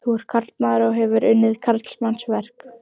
Þú ert karlmaður og hefur unnið karlmannsverk.